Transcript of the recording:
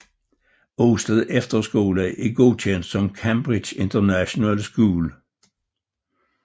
Osted Efterskole er godkendt som Cambridge International School